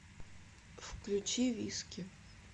включи виски